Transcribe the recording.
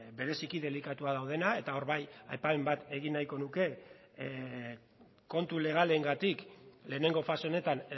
bereziki delikatuan daudenak eta hor bai aipamen bat egin nahiko nuke kontu legalengatik lehenengo fase honetan